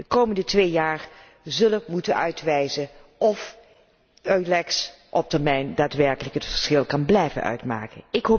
De komende twee jaar zullen moeten uitwijzen of EULEX op termijn daadwerkelijk het verschil kan blijven uitmaken.